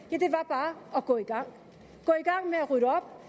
og gå i gang med at rydde op